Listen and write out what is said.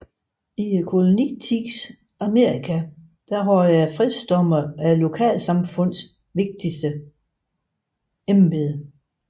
I kolonitidens Amerika havde fredsdommere lokalsamfundets vigtigste embede